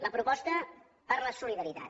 la proposta per la solidaritat